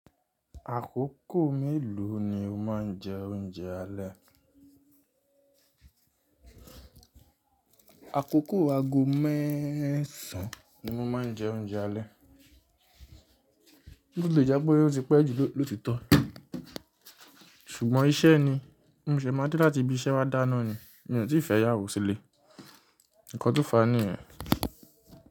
Àkókò mélòó ni o máa ń jẹ oúnjẹ alẹ́? Àkókò ago mẹ́ẹ̀sán ni mo máa ń jẹ oúnjẹ alẹ́. Ó le jẹ́ pé ó ti pẹ́ ju lóòtitọ́, ṣùgbọ́n iṣẹ́ ni mò ṣe máa dé láti bí iṣẹ́ wá dáná ni, m tì fẹ ìyàwó sílẹ̀. Ǹkan tó fàá nìyẹn.